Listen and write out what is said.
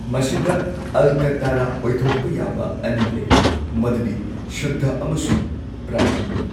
ꯃꯁꯤꯗ ꯑꯜꯀꯥꯇꯔꯥ ꯑꯣꯏꯊꯣꯛꯄ ꯌꯥꯕ ꯑꯅꯤ ꯂꯩꯔꯤ꯫ ꯃꯗꯨꯗꯤ ꯁꯨꯗ꯭ꯙ ꯑꯃꯁꯨꯡ ꯄ꯭ꯔꯇꯤꯅꯤ꯫